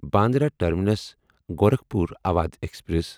Bandra Terminus Gorakhpur Awadh express